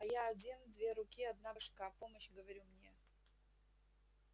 а я один две руки одна башка помощь говорю мне